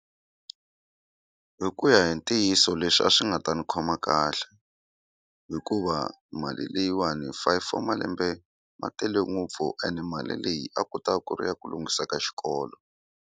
Hi ku ya hi ntiyiso leswi a swi nga ta ni khoma kahle hikuva mali leyiwani five wa malembe ma tele ngopfu ene mali leyi a kuta ku ri ya ku lunghisa ka xikolo.